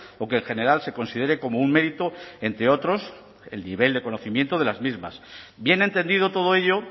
o que en general se considere como un mérito entre otros el nivel de conocimiento de las mismas bien entendido todo ello